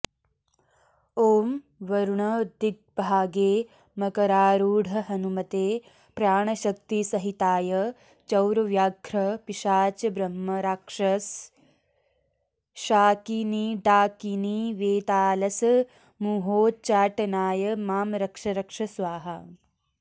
ॐ वरुणदिग्भागे मकरारूढहनुमते प्राणशक्तिसहिताय चौरव्याघ्र पिशाचब्रह्मराक्षसशाकिनीडाकिनीवेतालसमूहोच्चाटनाय मां रक्ष रक्ष स्वाहा